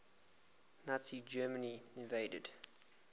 nazi germany invaded